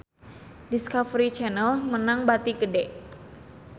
Discovery Channel meunang bati gede